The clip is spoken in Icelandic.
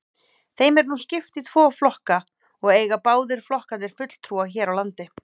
Þeim er nú skipt í tvo flokka og eiga báðir flokkarnir fulltrúa hér á landi.